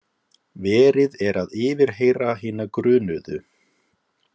Verið er að yfirheyra hina grunuðu